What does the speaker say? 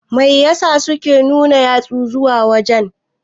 Mai ya sa suke nuna yatsu zuwa waje ne?